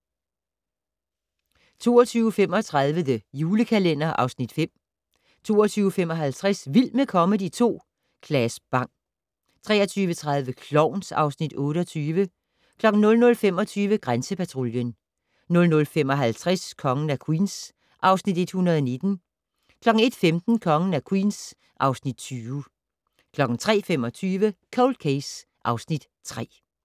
22:35: The Julekalender (Afs. 5) 22:55: Vild med comedy 2 - Claes Bang 23:30: Klovn (Afs. 28) 00:25: Grænsepatruljen 00:55: Kongen af Queens (Afs. 119) 01:15: Kongen af Queens (Afs. 120) 03:25: Cold Case (Afs. 3)